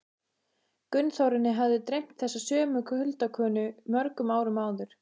Gunnþórunni hafði dreymt þessa sömu huldukonu mörgum árum áður.